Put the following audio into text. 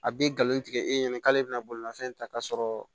A bɛ nkalon tigɛ e ɲɛna k'ale bɛna bolimafɛn ta k'a sɔrɔ